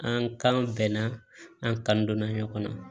An kan bɛnna an kan donna ɲɔgɔn na